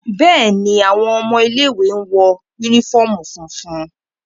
Bẹ́ẹ̀ni, awọn ọmọ ile-iwe náa ǹ wọ unifọmú funfun